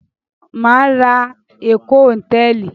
Mà á ra Eko Hòtẹ́ẹ́lì.